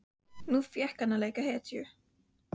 Nú fékk hann að leika hetju.